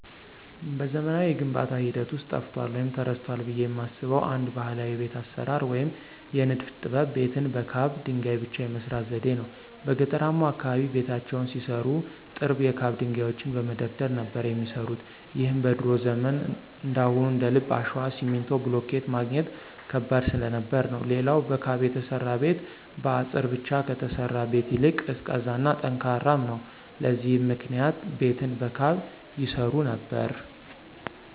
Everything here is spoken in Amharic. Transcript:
በዘመናዊው የግንባታ ሂደት ውስጥ ጠፍቷል ወይም ተረስቷል ብየ የማስበው አንድ ባህላዊ የቤት አሰራር ወይም የንድፍ ጥበብ ቤትን በካብ ድንገይ ብቻ የመስራት ዘዴን ነው። በገጠርማው አካባቢ ቤታቸውን ሲሰሩ ጥርብ የካብ ድንጋዮችን በመደርደር ነበር የሚሰሩት ይህም በድሮ ዘመን እንዳሁኑ እንደልብ አሸዋ፣ ሲሚንቶ፣ ብሎኬት ማግኘት ከባድ ስለነበር ነው። ሌላው በካብ የተሰራ ቤት በአጸር ብቻ ከተሰራ ቤት ይልቅ ቀዝቃዛ እና ጠንካራም ነው። ለዚህም ምክንያት ቤትን በካብ ይሰሩ ነበር።